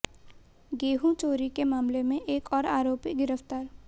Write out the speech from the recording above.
गेहूं चोरी के मामले में एक और आरोपी गिरफ्तार